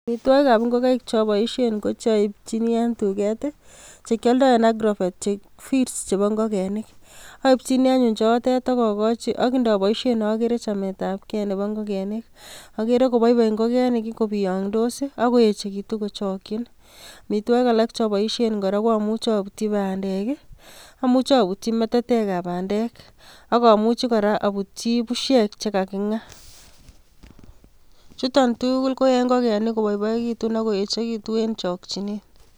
Amitwogikab ingogaik choboisien ko chaipchini en tuget, che kiadoi en agrovet, feeds chebo ingogenik. Aipchini anyun chetet ak agochi ak ndaboisien agere chametab ke nebo ingogenik. Agere koboiboi ingogenik kobiangdos ii ak koechegitu kochakyin. Amitwogik alak choboisien kora koamuchi abutyi bandek ii, amuchi abutyi metetekab bandek ak amuchi kora abutyi pusiek che kaginga. Chuton tugul koyae ingogenik koboiboegitun ak koechegitun eng chokchinet.